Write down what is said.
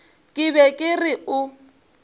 ke be ke re o